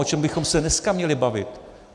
O čem bychom se dneska měli bavit?